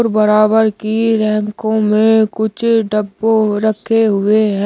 बराबर की रैंकों में कुछ डब्बों रखे हुए हैं।